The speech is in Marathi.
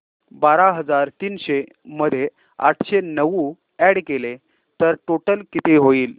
बारा हजार तीनशे मध्ये आठशे नऊ अॅड केले तर टोटल किती होईल